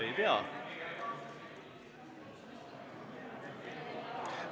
Ei pea!